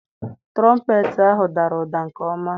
Tụrọmpeetị ahụ dara ụda nke ọma.